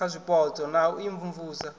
kha zwipotso na u imvumvusa